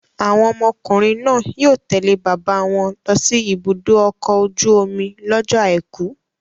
Àwọn ọmọkùnrin náà yóò tẹ̀lé bàbá wọn lọ sí ibùdó ọkọ̀ ojú-omi lọ́jọ́ àìkú.